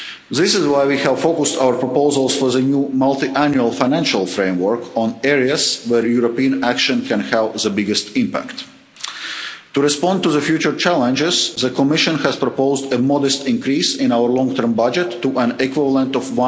deliver. This is why we have focused our proposals for the new Multiannual Financial Framework on areas where European action can have the biggest impact. To respond to the future challenges, the Commission has proposed a modest increase in our long term budget to an equivalent